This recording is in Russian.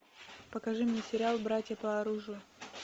покажи мне сериал братья по оружию